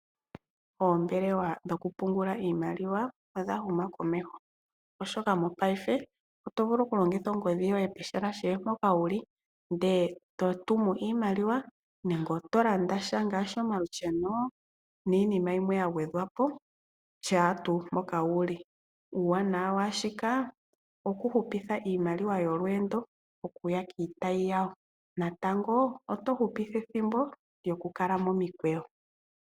Oombelewa dhokupungula iimaliwa odha huma komeho, oshoka mopaife oto vulu okulongitha ongodhi yoye pehala kehe mpoka wu li ndele e to tumu iimaliwa nenge oto landa sha ngaashi omalussheno niinima yimwe ya gwedhwa po shaa mpoka wu li. Uuwanawa waa shika okupupitha iimaliwa yolweendo okuya kiitayi yawo natango oto hupitha ethimbo lyokukala momikweyo.